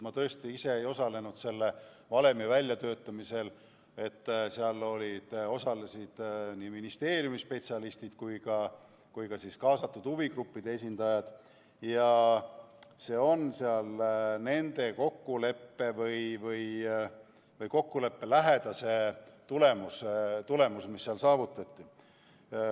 Ma tõesti ise ei osalenud selle valemi väljatöötamisel, seal olid ministeeriumi spetsialistid ja kaasatud huvigruppide esindajad ning see on nende kokkulepe või kokkuleppe lähedane tulemus, mis on saavutatud.